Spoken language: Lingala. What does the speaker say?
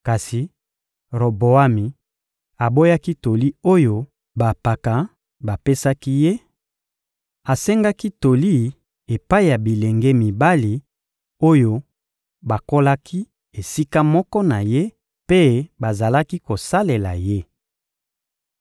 Kasi Roboami aboyaki toli oyo bampaka bapesaki ye; asengaki toli epai ya bilenge mibali oyo bakolaki esika moko na ye mpe bazalaki kosalela ye.